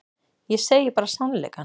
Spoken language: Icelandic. Ég segi bara sannleikann.